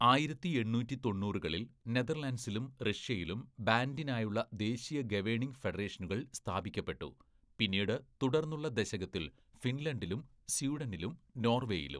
ആയിരത്തി എണ്ണൂറ്റി തൊണ്ണൂറുകളില്‍ നെതർലൻഡ്സിലും റഷ്യയിലും ബാൻഡിനായുള്ള ദേശീയ ഗവേണിംഗ് ഫെഡറേഷനുകൾ സ്ഥാപിക്കപ്പെട്ടു, പിന്നീട് തുടർന്നുള്ള ദശകത്തിൽ ഫിൻലണ്ടിലും, സ്വീഡനിലും നോർവേയിലും.